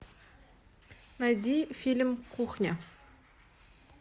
найди фильм кухня